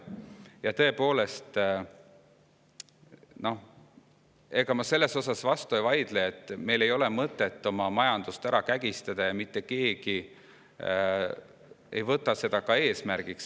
Ja ega ma sellele vastu ei vaidle, et meil ei ole mõtet oma majandust ära kägistada, ja mitte keegi ei võta seda ka eesmärgiks.